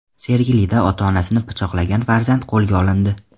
Sergelida ota-onasini pichoqlagan farzand qo‘lga olindi.